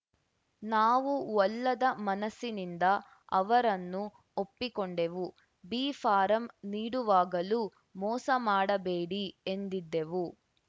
ನಾವು ಒಲ್ಲದ ಮನಸ್ಸಿನಿಂದ ಅವರನ್ನು ಒಪ್ಪಿಕೊಂಡೆವು ಬಿ ಫಾರಂ ನೀಡುವಾಗಲೂ ಮೋಸ ಮಾಡಬೇಡಿ ಎಂದಿದ್ದೆವು